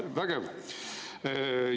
Vägev!